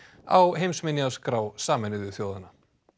á heimsminjaskrá Sameinuðu þjóðanna